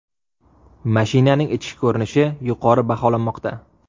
Mashinaning ichki ko‘rinishi yuqori baholanmoqda.